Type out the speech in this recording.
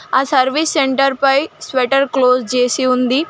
ఆ service centre పై shutter close చేసి ఉంది.